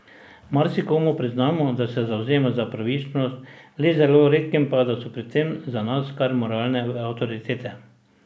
Marsikomu priznamo, da se zavzema za pravičnost, le zelo redkim pa, da so pri tem za nas kar moralne avtoritete.